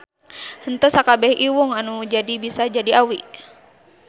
Henteu sakabeh iwung anu jadi bisa jadi awi.